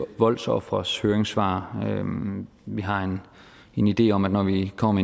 voldsofres høringssvar vi har en idé om at når vi kommer